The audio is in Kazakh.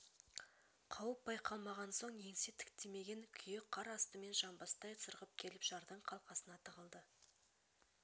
қауіп байқалмаған соң еңсе тіктемеген күйі қар астымен жанбастай сырғып келіп жардың қалқасына тығылды